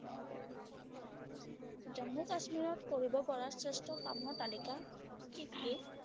জম্মু কাশ্মীৰত কৰিব পৰা শ্ৰেষ্ঠ কামৰ তালিকা কি কি?